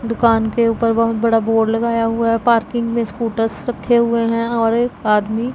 दुकान के ऊपर बहोत बड़ा बोर्ड लगाया हुआ है पार्किंग में स्कूटर्स रखे हुए हैं और एक आदमी--